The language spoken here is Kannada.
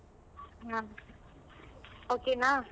ಹ್ಮ okay ನ?